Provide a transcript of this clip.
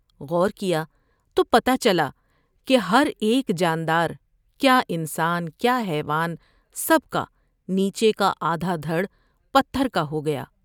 غور کیا تو پتہ چلا کہ ہر ایک جان دار ، کیا انسان ، کیا حیوان سب کا نیچے کا آدھا دھڑ پتھر کا ہو گیا ۔